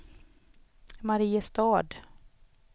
Mariestad